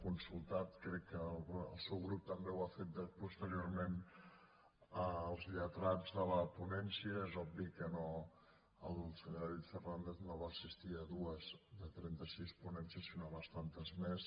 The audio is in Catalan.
consultats crec que el seu grup també ho ha fet posteriorment els lletrats de la ponència és obvi que no que el senyor david fernàndez no va assistir a dues de trenta sis ponències sinó a bastantes més